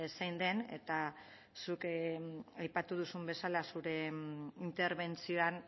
zein den eta zuk aipatu duzun bezala zure interbentzioan